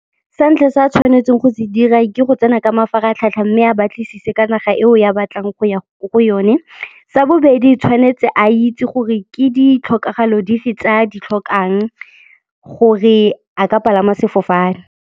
Sa ntlha se a tshwanetseng go se dira ke go tsena ka mafaratlhatlha mme a batlisise ka naga eo ya batlang go ya ko go yone, sa bobedi tshwanetse a itse gore ke di tlhokagalo dife tse a di tlhokang gore a ka palama sefofane.